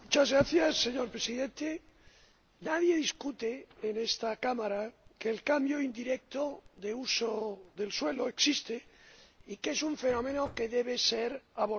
Señor Presidente, nadie discute en esta Cámara que el cambio indirecto del uso del suelo existe y que es un fenómeno que debe ser abordado.